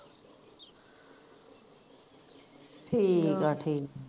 ਠੀਕ ਆ ਠੀਕ